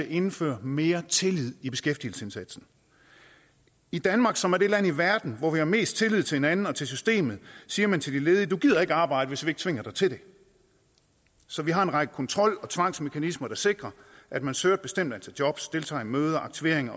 indføre mere tillid i beskæftigelsesindsatsen i danmark som er det land i verden hvor vi har mest tillid til hinanden og til systemet siger man til de ledige du gider ikke at arbejde hvis vi ikke tvinger dig til det så vi har en række kontrol og tvangsmekanismer der sikrer at man søger et bestemt antal jobs deltager i møder og aktivering